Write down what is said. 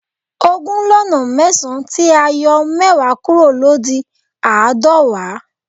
Ogún lọ́nà mẹ́sàn tí a yọ mẹ́wàá kúrò ló di aadọwa